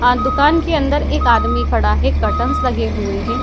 अ दुकान के अंदर एक आदमी खड़ा है करटेंस लगे हुए हैं ।